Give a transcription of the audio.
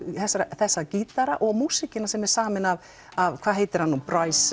þessa þessa gítara og músíkin sem er samin af af hvað heitir hann nú